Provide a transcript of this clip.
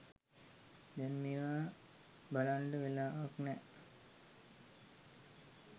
දෑන් මේවා බලන්ඩ වෙලාවක් නෑ